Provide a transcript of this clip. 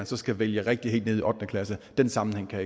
skal vælge rigtigt helt ned i ottende klasse den sammenhæng kan